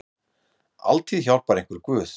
Altíð hjálpar einhver guð.